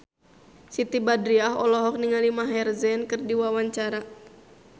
Siti Badriah olohok ningali Maher Zein keur diwawancara